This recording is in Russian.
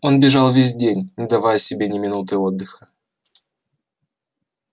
он бежал весь день не давая себе ни минуты отдыха